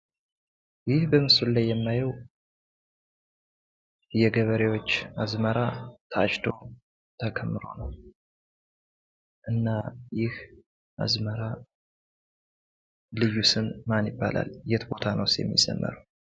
ይህ በምስሉ ላይ የማየው የገበሬዎች አዝመራ ታጭዶ ተከምሮ ነው ።እና ይህ አዝመራ ልዩ ስም ማን ይባላል? የት ቦታስ ነው የሚዘመረው?